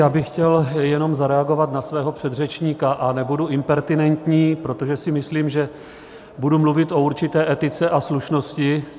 Já bych chtěl jenom zareagovat na svého předřečníka a nebudu impertinentní, protože si myslím, že budu mluvit o určité etice a slušnosti.